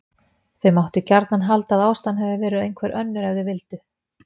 Þau máttu gjarnan halda að ástæðan hefði verið einhver önnur ef þau vildu.